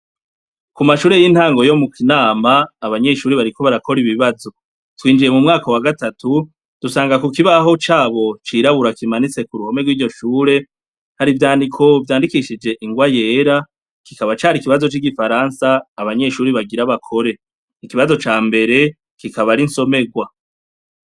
Ku mashure ry'intango yo mu Kinama abanyeshure bariko barakora ibibazo. Twinjiye mu mwaka wa gatatu dusanga ku kibaho cabo cirabura kimanitse ku ruhome rw'iryo shure, hari ivyandiko vyandikishije ingwa yera kikaba cari ikibazo c'igifaransa abanyeshure bagira bakore. Ikibazo ca mbere kikaba ari insomerwa.